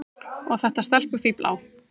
Og þetta stelpufífl á